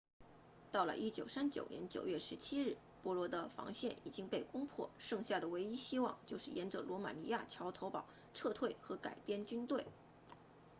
到了1939年9月17日波兰的防线已经被攻破剩下的唯一希望就是沿着罗马尼亚桥头堡撤退和改编军队